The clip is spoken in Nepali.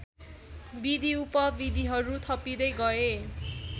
विधिउपविधिहरू थपिँदै गए